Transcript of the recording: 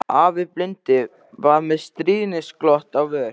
Afi blindi var með stríðnisglott á vör.